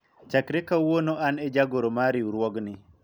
chakre kawuono an e jagoro mar riwruogni